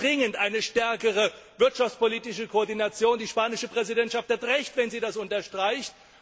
Wir brauchen dringend eine stärkere wirtschaftspolitische Koordination. Die spanische Präsidentschaft hat Recht, wenn sie das unterstreicht.